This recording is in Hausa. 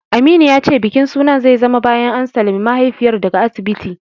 Aminu ya ce bikin sunan zai zama bayan an sallami mahaifiyar daga asibiti.